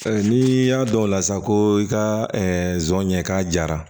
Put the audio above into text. N'i y'a dɔn o la sa ko i ka zon ɲɛ k'a jara